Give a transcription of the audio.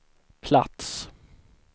plats